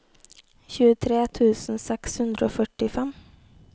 tjuetre tusen seks hundre og førtifem